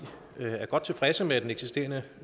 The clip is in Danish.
er godt tilfreds med det eksisterende